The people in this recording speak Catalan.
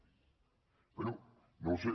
bé no ho sé